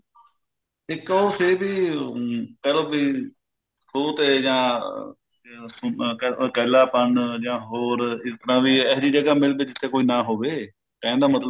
ਇੱਕ ਉਹ ਕਹਿੰਦੀ ਅਮ ਕਿਹ ਲਓ ਵੀ ਖੂਹ ਤੇ ਜਾਂ ਇਕੱਲਾਪਨ ਜਾਂ ਹੋਰ ਸਿਫਤਾਂ ਵੀ ਇਹੀ ਜਗ੍ਹਾ ਮਿਲ ਵੀ ਜਿੱਥੇ ਕੋਈ ਨਾਂ ਹੋਵੇ ਕਹਿਣ ਦਾ ਮਤਲਬ